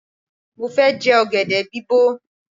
Mo fẹ́ jẹ ọ̀gẹ̀dẹ̀ bí bọ̀.